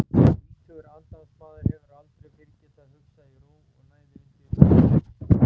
Tvítugur andansmaður hefur aldrei fyrr getað hugsað í ró og næði undir húsþaki.